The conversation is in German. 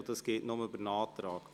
Das geht nur mit einem Antrag.